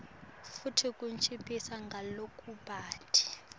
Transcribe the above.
futsi kunciphisa ngalokubanti